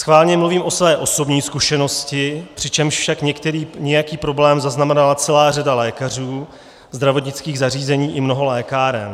Schválně mluvím o své osobní zkušenosti, přičemž však nějaký problém zaznamenala celá řada lékařů, zdravotnických zařízení i mnoho lékáren.